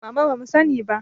Mama bamu sani ba